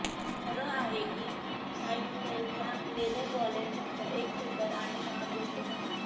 खरं आहे की शाइनेलचा लेदर वॉलेट फक्त एक सुंदर आणि महाग गोष्ट नाही